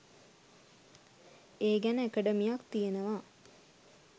ඒ ගැන ඇකඩමියක් තියෙනවා